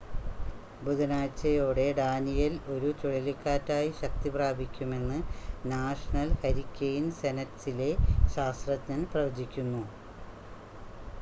ബുധനാഴ്ചയോടെ Daniel ഒരു ചുഴലിക്കാറ്റായി ശക്തിപ്രാപിക്കുമെന്ന് നാഷണൽ ഹരിക്കെയിൻ സെൻ്ററിലെ ശാസ്ത്രജ്ഞർ പ്രവചിക്കുന്നു